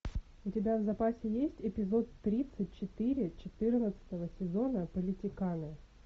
у тебя в запасе есть эпизод тридцать четыре четырнадцатого сезона политиканы